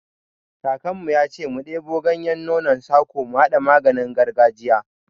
Kakan mu ya ce mu ɗebo ganyen nonon sako mu haɗa maganin gargajiya